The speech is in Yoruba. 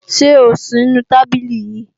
Ṣé ò ń sì nu tábìlì ni